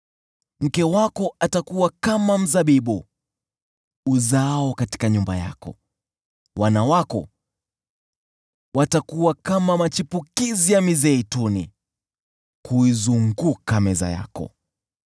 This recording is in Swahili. Mke wako atakuwa kama mzabibu uzaao ndani ya nyumba yako; wana wako watakuwa kama machipukizi ya mizeituni kuizunguka meza yako.